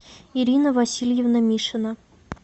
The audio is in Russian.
ирина васильевна мишина